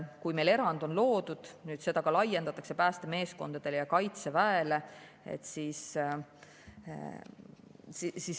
Kui meil erand on loodud, siis seda laiendatakse päästemeeskondadele ja kaitseväele.